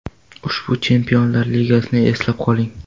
Ushbu Chempionlar Ligasini eslab qoling.